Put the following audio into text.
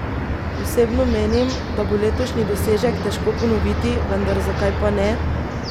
Osebno menim, da bo letošnji dosežek težko ponoviti, vendar zakaj pa ne?